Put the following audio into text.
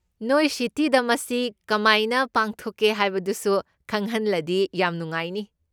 ꯅꯣꯏ ꯁꯤꯇꯤꯗ ꯃꯁꯤ ꯀꯃꯥꯏꯅ ꯄꯥꯡꯊꯧꯛꯀꯦ ꯍꯥꯏꯕꯗꯨꯁꯨ ꯈꯪꯍꯟꯂꯗꯤ ꯌꯥꯝ ꯅꯨꯡꯉꯥꯏꯅꯤ꯫